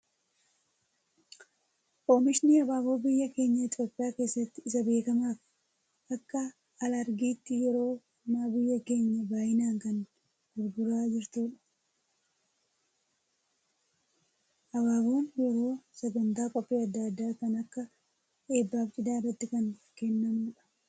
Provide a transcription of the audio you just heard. Oomishni abaaboo biyya keenya Itoophiyaa keessatti isa beekamaa fi akka alargiitti yeroo ammaa biyyi keenya baayyinaan kan gurguraa jirtudha. Abaaboon yeroo sagantaa qophii addaa addaa kan akka eebbaa fi cidhaa irratti kan kennamudha.